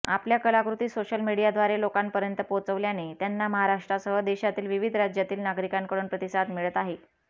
आपल्या कलाकृती सोशल मीडियाद्वारे लोकांपर्यंत पोहोचवल्याने त्यांना महाराष्ट्रासह देशातील विविध राज्यातील नागरिकांकडून प्रतिसाद मिळत आहे